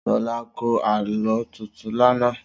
Sola kọ́ Àlọ́ tuntun làná